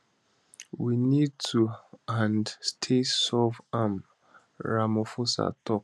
we need toand stay solve am ramaphosa tok